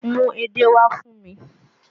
Mú edé wá fún mi!